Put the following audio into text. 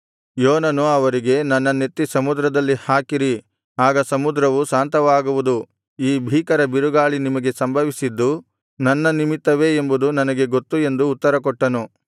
ಯೋನನು ಅವರಿಗೆ ನನ್ನನ್ನೆತ್ತಿ ಸಮುದ್ರದಲ್ಲಿ ಹಾಕಿರಿ ಆಗ ಸಮುದ್ರವು ಶಾಂತವಾಗುವುದು ಈ ಭೀಕರ ಬಿರುಗಾಳಿ ನಿಮಗೆ ಸಂಭವಿಸಿದ್ದು ನನ್ನ ನಿಮಿತ್ತವೇ ಎಂಬುದು ನನಗೆ ಗೊತ್ತು ಎಂದು ಉತ್ತರಕೊಟ್ಟನು